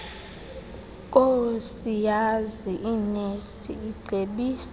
koosiyazi inesi icebisa